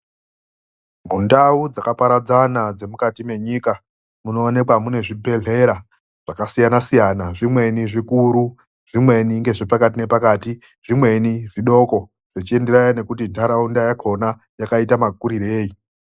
Mundau dzakaparadzana dzemukati menyika munowanikwa mune zvibhedhlera zvakasiyana-siyana. Zvimweni zvikuru zvimweni ngezvepakati nepakati, zvimweni zvidoko, zvichienderana nekuti nharaunda yakhona yakaite makurirei.